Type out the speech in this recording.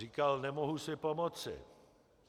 Říkal: Nemohu si pomoci.